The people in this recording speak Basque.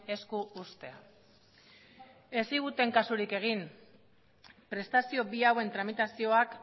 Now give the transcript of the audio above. esku uztea ez ziguten kasurik egin prestazio bi hauen tramitazioak